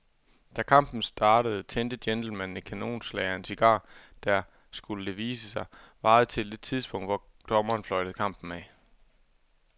Da kampen startede tændte gentlemanen et kanonslag af en cigar, der, skulle det vise sig, varede til det tidspunkt, hvor dommeren fløjtede kampen af.